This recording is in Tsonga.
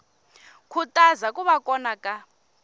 khutaza ku va kona ka